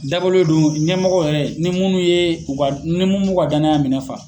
Dabɔlen don ɲɛmɔgɔ yɛrɛ, ni munnu ye u ka ,ni munnu m'u ka danaya minɛn fa.